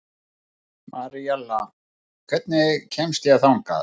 Maríella, hvernig kemst ég þangað?